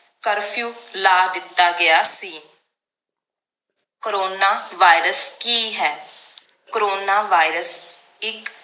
curfew ਲਾ ਦਿੱਤਾ ਗਿਆ ਸੀ ਕਰੋਨਾ virus ਕੀ ਹੈ ਇੱਕ ਕਰੋਨਾ virus ਇਕ